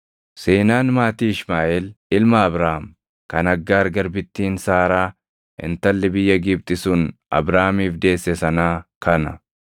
Seenaan maatii Ishmaaʼeel ilma Abrahaam kan Aggaar garbittiin Saaraa intalli biyya Gibxi sun Abrahaamiif deesse sanaa kana.